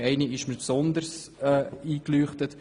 Eine hat mir besonders eingeleuchtet: